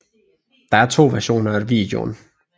Der er to versioner af videoen